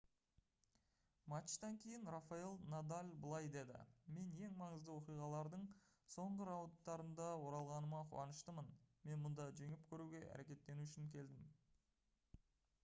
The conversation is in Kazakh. матчтан кейін рафаэль надаль былай деді: «мен ең маңызды оқиғалардың соңғы раундтарында оралғаныма қуаныштымын. мен мұнда жеңіп көруге әрекеттену үшін келдім»